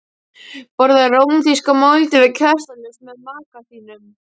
Borðaðu rómantíska máltíð við kertaljós með maka þínum.